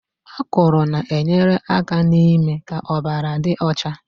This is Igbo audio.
Akụrụ na-enyere aka n'ime ka ọbara dị ọcha